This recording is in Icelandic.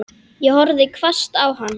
Ég horfði hvasst á hann.